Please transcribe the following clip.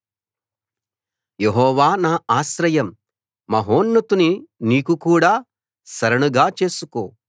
యెహోవా నా ఆశ్రయం మహోన్నతుణ్ణి నీకు కూడా శరణుగా చేసుకో